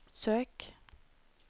søk